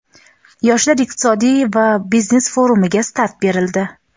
Yoshlar iqtisodiy va biznes forumiga start berildi.